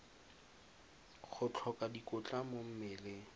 go tlhoka dikotla mo mmeleng